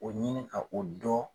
O ɲini ka o dɔn!